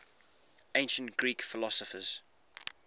ancient greek philosophers